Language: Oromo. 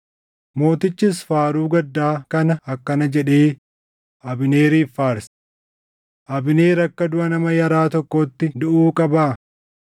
Mootichis faaruu gaddaa kana akkana jedhee Abneeriif faarse: “Abneer akka duʼa nama yaraa tokkootti duʼuu qabaa?